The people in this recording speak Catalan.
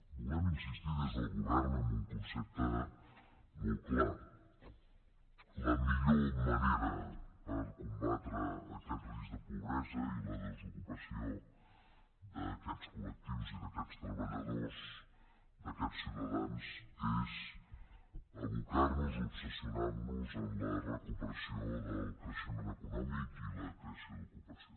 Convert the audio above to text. volem insistir des del govern en un concepte molt clar la millor manera per combatre aquest risc de pobresa i la desocupació d’aquests coltreballadors d’aquests ciutadans és abocar nos obsessionar nos en la recuperació del creixement econòmic i la creació d’ocupació